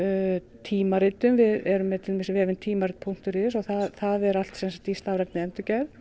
tímaritum við erum með til dæmis vefinn tímarit punktur is það er allt sem sagt í stafrænni endurgerð